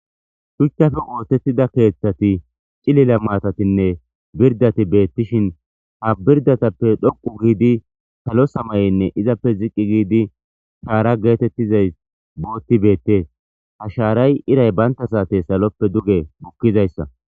Shuchchafe oothettida keeththati cilila maatatinne birdati beettishin ha birdatappe dhoqu giidi salo samayenne izappe ziqqi giidi shaara geetettizay bootti beette ha shaaray iray baynta saate saloppe duge bukkizayssa.